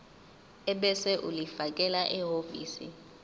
ebese ulifakela ehhovisi